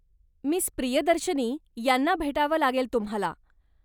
Miss. Priyadarshini यांना भेटावं लागेल तुम्हाला.